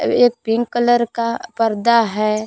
वे एक pink colour का पर्दा है।